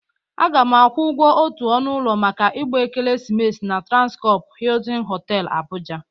Aga m akwụ ụgwọ otu ọnụ ụlọ maka ịgba Ekeresimesi na Transkọpụ Hịịtịn Họtelụ, Abụja.